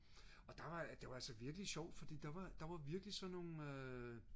og det var altså virkelig sjovt fordi der var virkelig sådan nogle